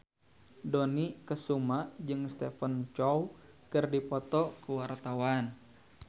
Dony Kesuma jeung Stephen Chow keur dipoto ku wartawan